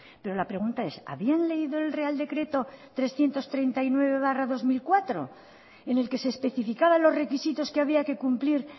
pero la pregunta es habían leído el real decreto trescientos treinta y nueve barra dos mil cuatro en el que se especificaba los requisitos que había que cumplir